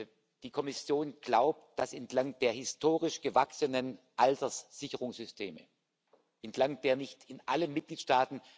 The Council therefore underlined that further steps still need to be taken by Member States.